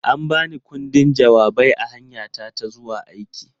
An ba ni ƙundin jawabai a hanyata ta zuwa aiki.